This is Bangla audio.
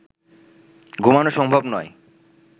ঘুমানো সম্ভব নয়